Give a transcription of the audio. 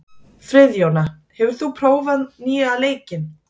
Friðjóna, hefur þú prófað nýja leikinn?